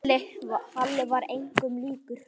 Halli var engum líkur.